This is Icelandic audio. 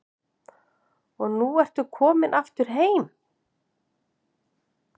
Og nú ertu komin aftur heim?